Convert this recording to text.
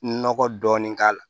Nɔgɔ dɔɔnin k'a la